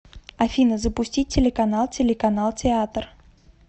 афина запустить телеканал телеканал театр